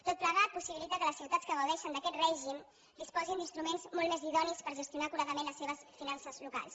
tot plegat possibilita que les ciutats que gaudeixen d’aquest règim disposin d’instruments molt més idonis per gestionar acuradament les seves finances locals